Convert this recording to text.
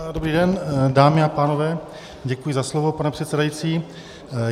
Dobrý den dámy a pánové, děkuji za slovo, pane předsedající.